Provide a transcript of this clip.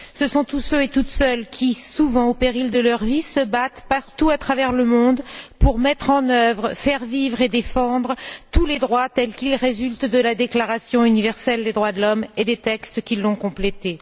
Ce sont tous ceux et toutes celles qui, souvent au péril de leur vie, se battent partout à travers le monde pour mettre en œuvre, faire vivre et défendre tous les droits tels qu'ils résultent de la Déclaration universelle des droits de l'homme et des textes qui l'ont complétée.